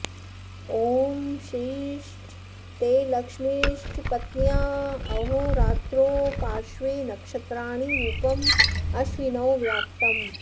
ॐ श्रीश्च ते लक्ष्मीश्च पत्न्यावहोरात्रो पाश्र्वे नक्षत्राणि रूपमश्विनौ व्यात्तम्